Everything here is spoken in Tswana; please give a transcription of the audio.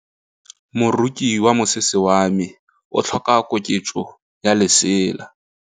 Moroki wa mosese wa me o tlhoka koketsô ya lesela.